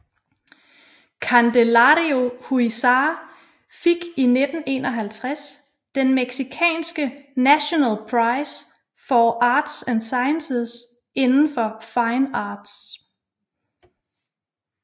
Candelario Huízar fik i 1951 den mexikanske National Prize for Arts and Sciences indenfor Fine arts